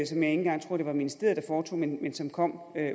engang tror at ministeriet foretog men men som kom